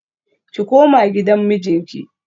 Ki koma gidan mijinki